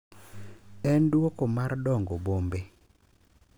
En duoko mar dongo bombe.